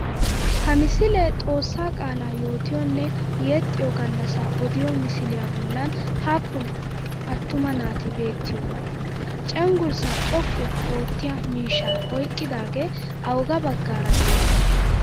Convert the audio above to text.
Ha misilee xoossaa qaalaa yootiyonne yexxiyo gallassaa odiya misiliya bollan happen attuma naati beettiyoonaa? Cenggurssaa xoqqu oottiya mishshaa oyqqidaagee awugaa baggaara de'ii?